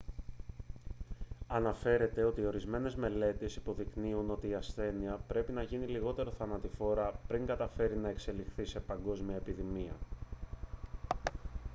ανέφερε ότι ορισμένες μελέτες υποδεικνύουν ότι η ασθένεια πρέπει να γίνει λιγότερο θανατηφόρα πριν καταφέρει να εξελιχθεί σε παγκόσμια επιδημία